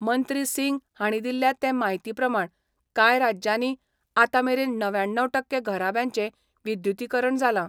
मंत्री सिंग हाणी दिल्या ते म्हायती प्रमाण कांय राज्यानी आतांमेरेन णव्याण्णव टक्के घराब्यांचे विद्युतिकरण जाला.